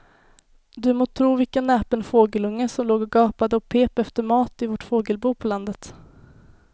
Du må tro vilken näpen fågelunge som låg och gapade och pep efter mat i vårt fågelbo på landet.